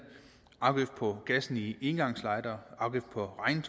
afgift på gassen i engangslightere afgift på